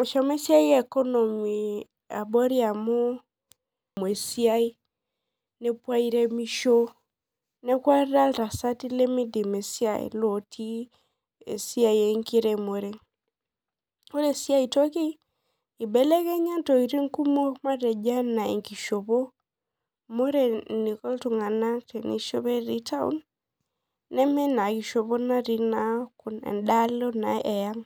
eshomo esiai e economy abori neaku ata ltasati lemeidim esiai enkiremore ore si aitoki ibelekenya ntokitin kumok ana enkishopo amu ore enkiko ltunganak peishopo etii taun nemeina kishopo natii idialo eang.